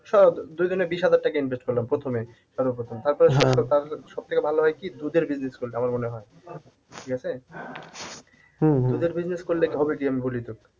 দুজনে বিশ হাজার টাকা invest করলাম প্রথমে সর্বপ্রথম তারপরে সবথেকে ভালো হয় কি দুধের business করলে আমার মনে হয় ঠিক আছে? দুধের business করলে হবে কি আমি বলি তোকে